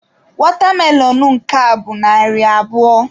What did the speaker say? Watermelon nke a bụ narị abụọ.